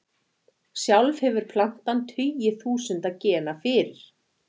Sjálf hefur plantan tugi þúsunda gena fyrir.